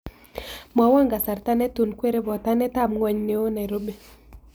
Mwowon kasarta netun kwere botanetab ng'wony neo nairobi